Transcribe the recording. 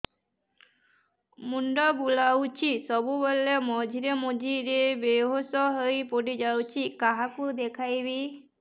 ମୁଣ୍ଡ ବୁଲାଉଛି ସବୁବେଳେ ମଝିରେ ମଝିରେ ବେହୋସ ହେଇ ପଡିଯାଉଛି କାହାକୁ ଦେଖେଇବି